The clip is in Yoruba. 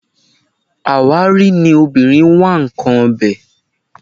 Àwárí ni obìnrin ń wá nǹkan ọbẹ̀